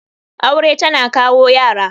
Aure tana kawo Yara.